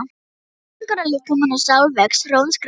Skilningur á líkama og sál vex hröðum skrefum.